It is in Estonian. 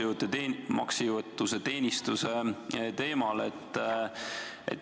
Jätkan samal maksejõuetuse teenistuse teemal.